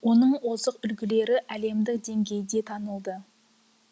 оның озық үлгілері әлемдік деңгейде танылды